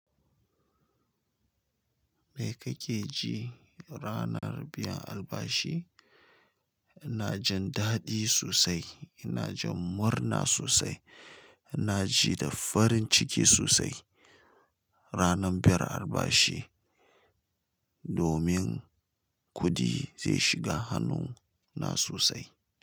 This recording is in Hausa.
Me kake ji ranar biyan albashi? Ina jin daɗi sosai, ina jin murna sosai. Ina ji da farin ciki sosai ranar biyan albashi, domin kuɗi zai shiga hannuna sosai.